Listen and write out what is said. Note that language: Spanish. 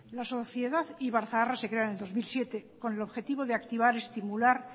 la sociedad ibarzaharra se crea en dos mil siete con el objetivo de activar estimular